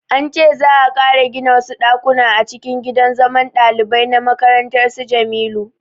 An ce za'a ƙara gina wasu ɗakuna a cikin gidan zaman ɗalibai na makarantar su Jamilu